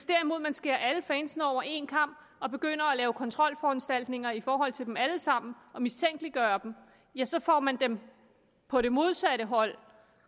derimod skærer alle fansene over én kam og begynder at lave kontrolforanstaltninger i forhold til dem alle sammen og mistænkeliggør dem ja så får man dem på det modsatte hold